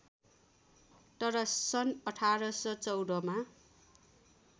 तर सन् १८१४ मा